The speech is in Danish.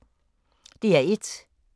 DR1